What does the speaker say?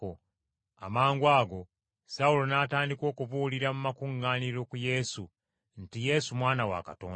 Amangwago Sawulo n’atandika okubuulira mu makuŋŋaaniro ku Yesu nti Yesu Mwana wa Katonda.